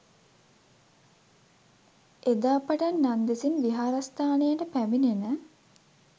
එදා පටන් නන්දෙසින් විහාරස්ථානයට පැමිණෙන